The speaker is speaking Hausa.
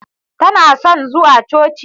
Tana son zuwa Coci.